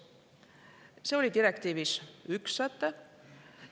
See on direktiivi üks säte.